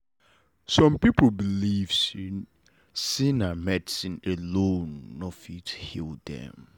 some people believe say say medicine alone nor fit heal dem